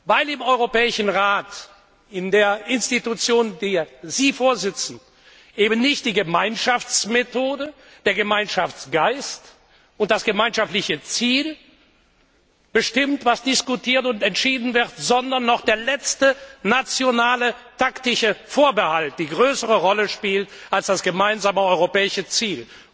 Weil im Europäischen Rat, in der Institution, der Sie vorsitzen, eben nicht die Gemeinschaftsmethode, der Gemeinschaftsgeist und das gemeinschaftliche Ziel bestimmt, was diskutiert und entschieden wird, sondern noch der letzte nationale taktische Vorbehalt eine größere Rolle spielt als das gemeinsame europäische Ziel.